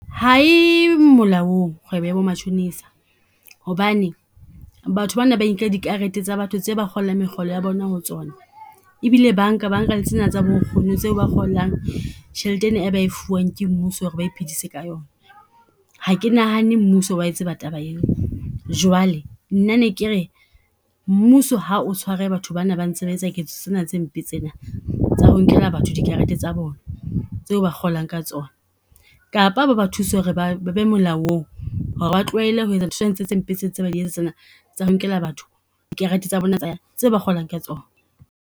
Ha e molaong kgwebo ya bo matjhonisa. Hobane batho bana ba inkela dikarete tsa batho tse ba kgolang mekgolo ya bona ho tsona. E bile ba nka, ba nka le tsena tsa bo nkgono tseo ba kgolang tjhelete ena e ba e fuwang ke mmuso ho re ba iphedisa ka yona. Ha ke nahane mmuso o wa e tseba taba eo. Jwale nna ne ke re mmuso ha o tshware batho ba na ba ntse ba etsa ketso tsena tse mpe tsena tsa ho nkela batho dikarete tsa bona, tseo ba kgolang ka tsona. Kapa ba ba thuse ho re ba, ba be molaong ho re ba tlohele ho etsa ntho tse mpe tse ntse ba di etsa tsena, tsa ho nkela batho dikarete tsa bona tse ba kgolang ka tsona.